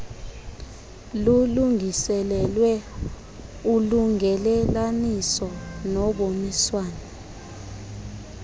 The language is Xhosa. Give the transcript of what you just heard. lulungiselelwe ulungelelaniso noboniswano